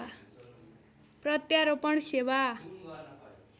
प्रत्यारोपण सेवा